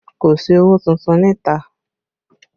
Kò sí owó tuntun níta